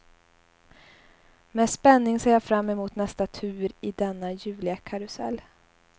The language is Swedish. Med spänning ser jag fram emot nästa tur i denna ljuvliga karusell.